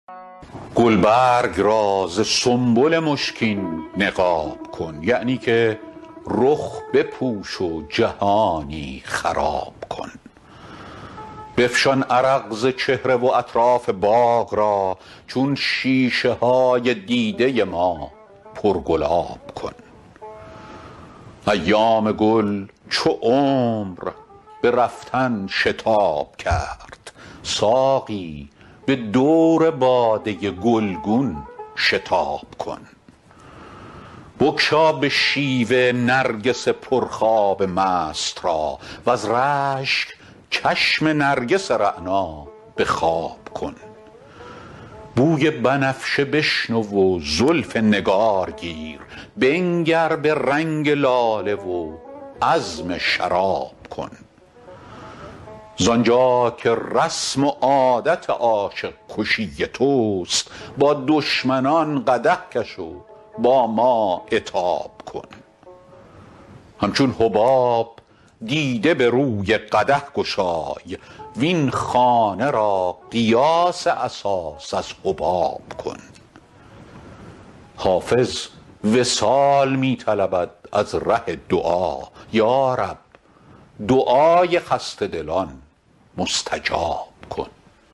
گلبرگ را ز سنبل مشکین نقاب کن یعنی که رخ بپوش و جهانی خراب کن بفشان عرق ز چهره و اطراف باغ را چون شیشه های دیده ما پرگلاب کن ایام گل چو عمر به رفتن شتاب کرد ساقی به دور باده گلگون شتاب کن بگشا به شیوه نرگس پرخواب مست را وز رشک چشم نرگس رعنا به خواب کن بوی بنفشه بشنو و زلف نگار گیر بنگر به رنگ لاله و عزم شراب کن زآن جا که رسم و عادت عاشق کشی توست با دشمنان قدح کش و با ما عتاب کن همچون حباب دیده به روی قدح گشای وین خانه را قیاس اساس از حباب کن حافظ وصال می طلبد از ره دعا یا رب دعای خسته دلان مستجاب کن